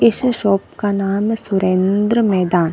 इस शॉप का नाम सुरेंद्र मैदान --